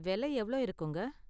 வெலை எவ்ளோ இருக்குங்க?